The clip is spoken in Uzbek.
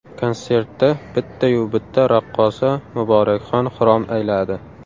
Konsertda bittayu bitta raqqosa Muborakxon xirom ayladi.